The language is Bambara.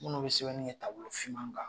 Minnu bɛ sɛbɛni kɛ tabolofinma kan.